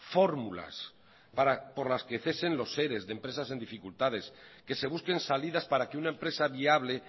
fórmulas por las que cesen los ere de empresas en dificultades que se busquen salidas para que una empresa viable